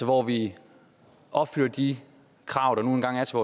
hvor vi opfylder de krav der nu engang er til